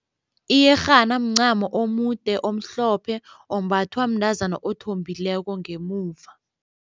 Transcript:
Iyerhana mncamo omude omhlophe ombathwa mntazana othombileko ngemuva.